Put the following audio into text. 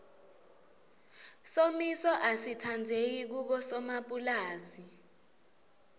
somiso asitsandzeki kubosomapulazi